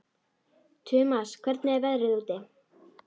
Tumas, hvernig er veðrið úti?